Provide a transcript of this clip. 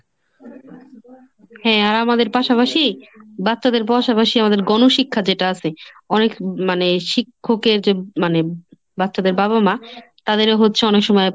হ্যাঁ আর আমাদের পাশাপাশি বাচ্চাদের পাশাপাশি আমাদের গণশিক্ষা যেটা আছে, অনেক মানে শিক্ষকের যে মানে বাচ্চাদের বাবা মা তাদেরও হচ্ছে অনেক সময়